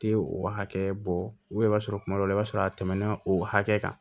Tɛ o hakɛ bɔ i b'a sɔrɔ kuma dɔ la i b'a sɔrɔ a tɛmɛna o hakɛ kan